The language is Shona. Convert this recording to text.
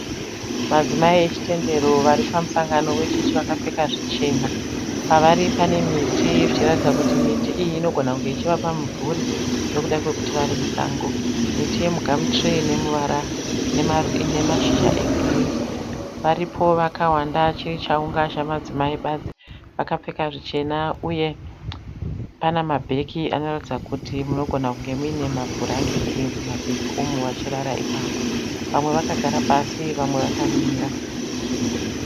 Madzimai echitendero varipamusangano wechechi vakapfeka zvichena, pavari panemiti zvichiratidza kuti miti iyi inogona kunge ichivapa mumvuri nekuda kwekuti varimusango miti yemugamutiri inemashizha egirini. Varipo vakawanda chirichaunga chamadzimai badzi vakapfeka zvichena uye pane mabhegi anoratidza kuti munogonakunge munemabhurangeti mumabhagi umo vachirara ipapo, vamwe vakagara pasi vamwe vakamira.